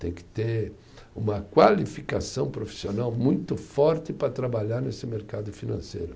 Tem que ter uma qualificação profissional muito forte para trabalhar nesse mercado financeiro.